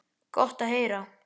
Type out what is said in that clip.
Gott að heyra.